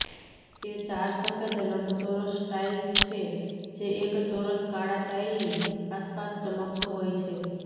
તે ચાર સફેદ લંબચોરસ ટાઇલ્સ છે જે એક ચોરસ કાળા ટાઇલની આસપાસ ચમકતો હોય છે